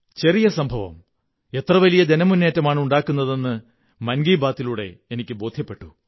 ചെറിയ സംഭവം എത്ര വലിയ ജനമുന്നേറ്റമാണുണ്ടാക്കുന്നതെന്ന് മൻ കീ ബാത്തിലൂടെ എനിക്കു ബോധ്യപ്പെട്ടു